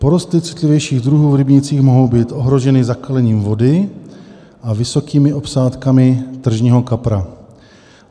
Porosty citlivějších druhů v rybnících mohou být ohroženy zakalením vody a vysokými obsádkami tržního kapra.